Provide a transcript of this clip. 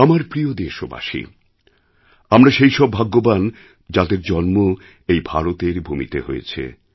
আমার প্রিয় দেশবাসী আমরা সেইসব ভাগ্যবান যাদের জন্ম এই ভারতের ভূমিতে হয়েছে